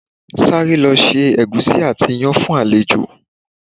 Sáré lọ se ẹ̀gúsí àti iyán fún àlejò!